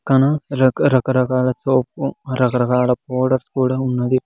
క్కన రకరకరకాల సోపు రకరకాల పౌడర్స్ కూడా ఉన్నది.